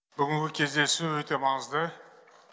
бүгінгі кездесу өте маңызды